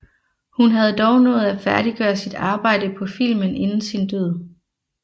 Hun havde dog nået at færdiggøre sit arbejde på filmen inden sin død